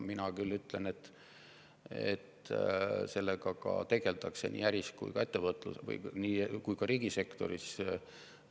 Mina küll ütlen, et sellega tegeldakse nii äri- kui ka riigisektoris.